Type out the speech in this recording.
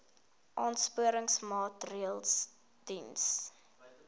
aansporingsmaatre ls diens